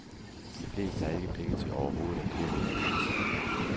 De fleste har ikke penge til overhovedet at købe en avis.